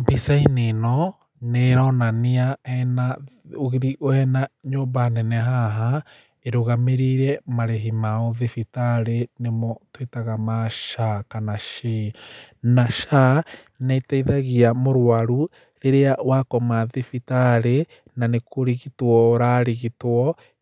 Mbica-inĩ ĩno, nĩ ĩronania hena ũgĩthi hena nyũmba nene haha, ĩrũgamĩrĩire marĩhi ma ũthibitarĩ, nĩmo tũĩtaga ma SHA kana SHI. Na SHA, nĩ ĩteithagia mũrũaru, rĩrĩa wakoma thibitarĩ, na nĩkũrigitwo ũrarigitwo,